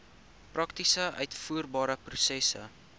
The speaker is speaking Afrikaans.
prakties uitvoerbare prosesse